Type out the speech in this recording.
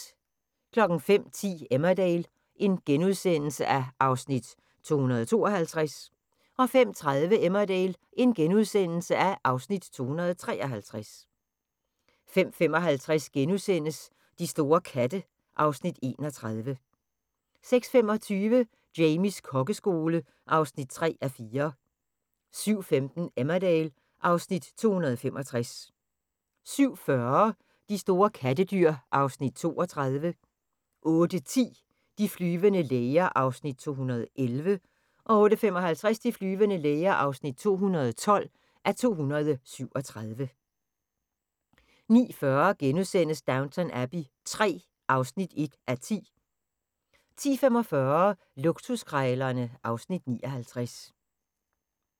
05:10: Emmerdale (Afs. 252)* 05:30: Emmerdale (Afs. 253)* 05:55: De store katte (Afs. 31)* 06:25: Jamies kokkeskole (3:4) 07:15: Emmerdale (Afs. 265) 07:40: De store kattedyr (Afs. 32) 08:10: De flyvende læger (211:237) 08:55: De flyvende læger (212:237) 09:40: Downton Abbey III (1:10)* 10:45: Luksuskrejlerne (Afs. 59)